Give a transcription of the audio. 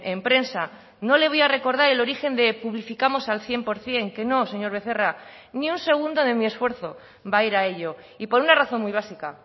en prensa no le voy a recordar el origen de publificamos al cien por ciento que no señor becerra ni un segundo de mi esfuerzo va a ir a ello y por una razón muy básica